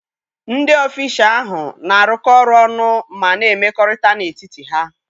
Ndị ọfịshaa ahụ na-arụkọ ọrụ ọnụ ma na-emekọ̀rị̀ta n'etiti ha